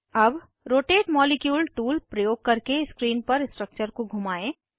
अब rotate molecule tool प्रयोग करके स्क्रीन पर स्ट्रक्चर को घुमाएं